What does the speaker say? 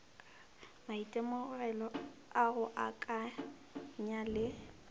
maitemogelo a go akanya le